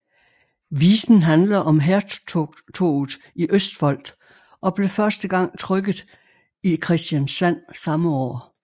Visen handler om hærtoget i Østfold og blev første gang trykket i Kristiansand samme år